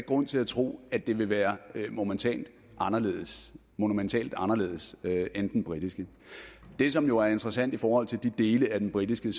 grund til at tro at den vil være monumentalt anderledes monumentalt anderledes end den britiske det som jo er interessant i forhold til de dele af den britiske